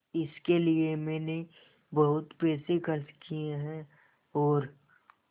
इसके लिए मैंने बहुत पैसे खर्च किए हैं और